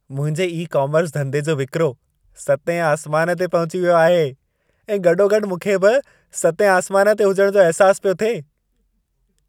मुंहिंजे ई-कोमर्स धंधे जो विक्रो सतें आसमान ते पहुची वयो आहे ऐं गॾो-गॾु मूंखे बि सतें आसमान ते हुजण जो अहिसास पियो थिए।